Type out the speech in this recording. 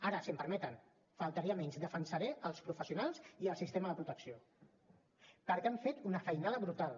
ara si m’ho permeten només faltaria defensaré els professionals i el sistema de protecció perquè han fet una feinada brutal